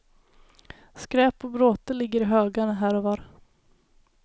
Skräp och bråte ligger i högar här och var.